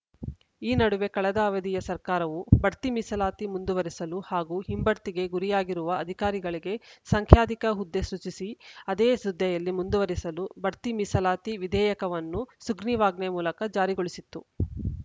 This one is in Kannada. ಈ ನಡುವೆ ಕಳೆದ ಅವಧಿಯ ಸರ್ಕಾರವು ಬಡ್ತಿ ಮೀಸಲಾತಿ ಮುಂದುವರೆಸಲು ಹಾಗೂ ಹಿಂಬಡ್ತಿಗೆ ಗುರಿಯಾಗಿರುವ ಅಧಿಕಾರಿಗಳಿಗೆ ಸಂಖ್ಯಾಧಿಕ ಹುದ್ದೆ ಸೃಜಿಸಿ ಅದೇ ಹುದ್ದೆಯಲ್ಲಿ ಮುಂದುವರೆಸಲು ಬಡ್ತಿ ಮೀಸಲಾತಿ ವಿಧೇಯಕವನ್ನು ಸುಗ್ರೀವಾಜ್ಞೆ ಮೂಲಕ ಜಾರಿಗೊಳಿಸಿತ್ತು